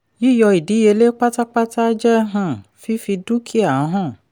yíyọ ìdíyelé pátápátá jẹ́ um fífi dúkìá han.